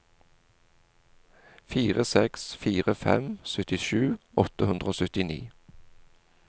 fire seks fire fem syttisju åtte hundre og syttini